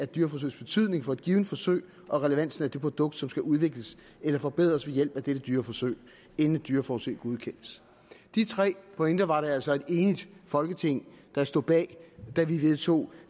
dyreforsøgs betydning for et givet forsøg og relevansen af det produkt som skal udvikles eller forbedres ved hjælp af dette dyreforsøg inden et dyreforsøg godkendes de tre pointer var der altså et enigt folketing der stod bag da vi vedtog